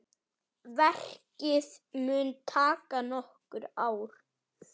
Verkið mun taka nokkur ár.